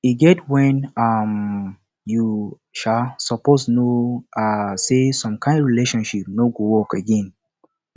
e get when um you um suppose know um sey some kind friendship no go work again